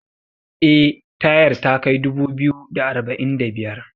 eh tayar takai dubu biyu da arba'in da biyar